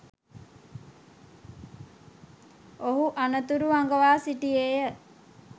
ඔහු අනතුරු අඟවා සිටියේය